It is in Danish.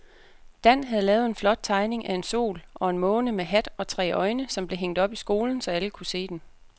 Dan havde lavet en flot tegning af en sol og en måne med hat og tre øjne, som blev hængt op i skolen, så alle kunne se den.